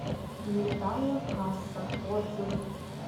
металлокасса отзывы